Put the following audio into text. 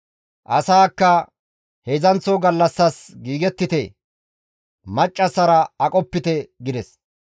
Asaakka, «Heedzdzanththo gallassas giigettite; maccassara aqopite» gides.